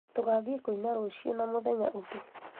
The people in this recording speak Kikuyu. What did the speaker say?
tũgathĩĩ kũina rũciũ na mũthenya ũngĩ